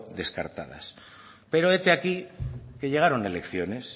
descartadas pero hete aquí que llegaron elecciones